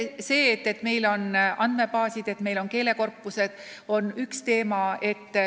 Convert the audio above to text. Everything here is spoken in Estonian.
See, et meil on andmebaasid, et meil on keelekorpused, on üks teema.